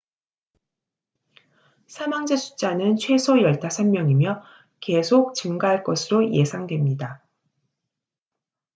사망자 숫자는 최소 15명이며 계속 증가할 것으로 예상됩니다